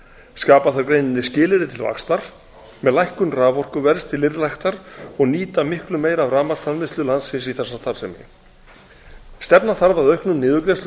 skapa þarf greininni skilyrði til vaxtar með lækkun raforkuverðs til ylræktar og nýta miklu meira af rafmagnsframleiðslu landsins í þessa starfsemi stefna þarf að auknum niðurgreiðslum